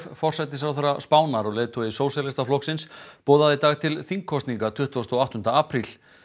forsætisráðherra Spánar og leiðtogi Sósíalistaflokksins boðaði í dag til þingkosninga tuttugasta og áttunda apríl